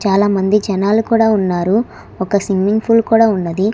చాలామంది జనాలు కూడా ఉన్నారు ఒక స్విమ్మింగ్ ఫూల్ కూడా ఉన్నది